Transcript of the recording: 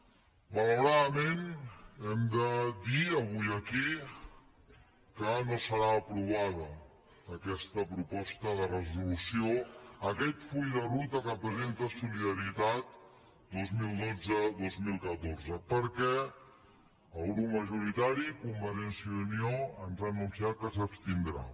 malauradament hem de dir avui aquí que no serà aprovada aquesta proposta de resolució aquest full de ruta que presenta solidaritat dos mil dotze dos mil catorze perquè el grup majoritari convergència i unió ens ha anunciat que s’abstindrà